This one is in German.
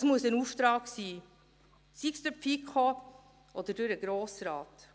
Es muss aber ein Auftrag sein, sei es durch die FiKo oder durch den Grossen Rat.